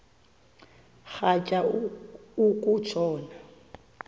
rhatya uku tshona